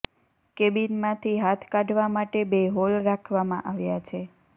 કેબિનમાંથી હાથ કાઢવા માટે બે હોલ રાખવામાં આવ્યા છે